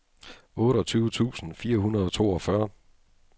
otteogtyve tusind fire hundrede og toogfyrre